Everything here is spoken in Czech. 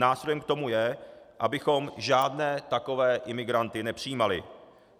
Nástrojem k tomu je, abychom žádné takové imigranty nepřijímali.